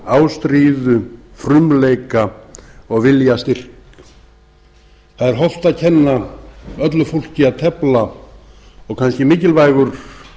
ástríðu frumleika og viljastyrk það er hollt að kenna öllu fólki að tefla og kannski mikilvægur